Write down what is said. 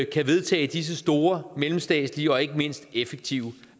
kan vedtage disse store mellemstatslige og ikke mindst effektive